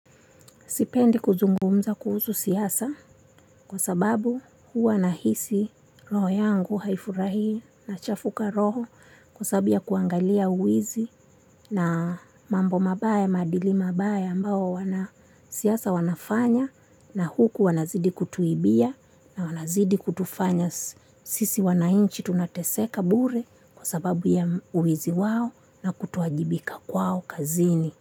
Sipendi kuzungumza kuhusu siasa kwa sababu huwa nahisi roho yangu haifurahii nachafuka roho kwa sababu ya kuangalia wizi na mambo mabaya maadili mabaya ambao wanasiasa wanafanya na huku wanazidi kutuibia na wanazidi kutufanya sisi wananchi tunateseka bure kwa sababu ya wizi wao na kutoajibika kwao kazini.